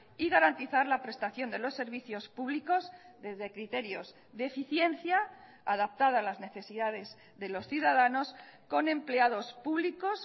y garantizar la prestación de los servicios públicos desde criterios de eficiencia adaptada a las necesidades de los ciudadanos con empleados públicos